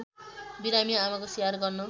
बिरामी आमाको स्याहार गर्न